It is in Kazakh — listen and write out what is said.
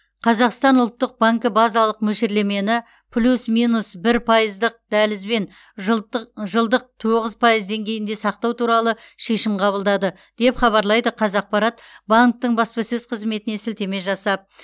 қазақстан ұлттық банкі базалық мөлшерлемені плюс минус бір пайыздық дәлізбен жылтық жылдық тоғыз пайыз деңгейінде сақтау туралы шешім қабылдады деп хабарлайды қазақпарат банктің баспасөз қызметіне сілтеме жасап